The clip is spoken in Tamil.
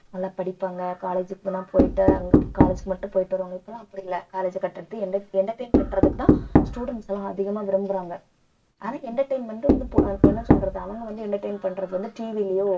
நல்லா படிப்பாங்க college க்கு போனா போயிட்டு அங்க college மட்டும் போயிட்டு வருவாங்க இப்பலாம் அப்படி இல்லை college அ cut அடிச்சு enter~ entertain பண்றதுக்குதான் students எல்லாம் அதிகமாக விரும்புறாங்க ஆனா entertainment வந்து இப்ப அஹ் என்ன சொல்றது அவங்க வந்து entertain பண்றது வந்து TV லயோ